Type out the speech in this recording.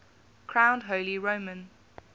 crowned holy roman